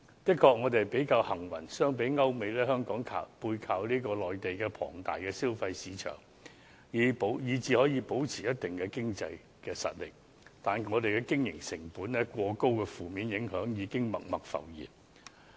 香港的確比較幸運，相比歐美，香港背靠內地龐大的消費市場，以致可以保持一定的經濟實力，但經營成本過高的負面影響已經默默浮現。